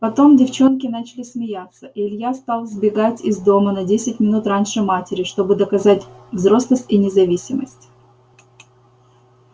потом девчонки начали смеяться и илья стал сбегать из дома на десять минут раньше матери чтобы доказать взрослость и независимость